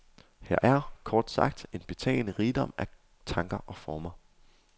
Her er kort sagt en betagende rigdom af tanker og former.